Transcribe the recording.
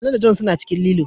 Nana da John suna cikin lilo.